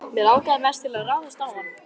Mig langaði mest til að ráðast á hann.